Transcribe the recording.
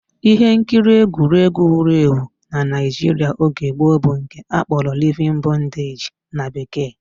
Ihe nkiri egwuregwu wuru ewu na Naijiria oge gboo bụ nke akpọrọ Living In Bondage na bekee